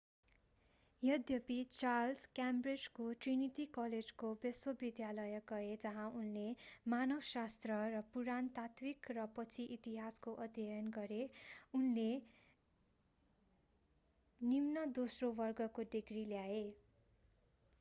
यद्यपि चार्ल्स क्याम्ब्रिजको ट्रिनिटी कलेजको विश्वविद्यालय गए जहाँ उनले मानवशास्त्र र पुरातात्विक र पछि इतिहासको अध्ययन गरे उनले 2:2 निम्न दोस्रो वर्गको डिग्री ल्याए।